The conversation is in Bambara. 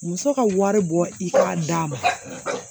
Muso ka wari bɔ i ka d'a ma